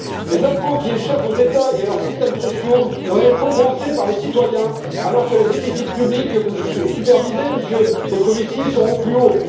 Les impôts qui échappent aux États et à leurs systèmes sociaux doivent être compensés par les citoyens, alors que les déficits publics que vous supervisez, Monsieur Moscovici, sont au plus haut.